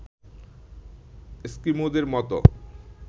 এস্কিমোদের মতো